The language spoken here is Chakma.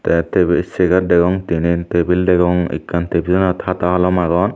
the table chair degong tinen table degong ekkan table table anot hata holom agon.